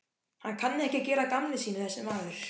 Hann kann ekki að gera að gamni sínu þessi maður.